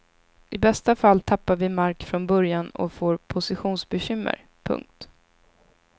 I bästa fall tappar vi mark från början och får positionsbekymmer. punkt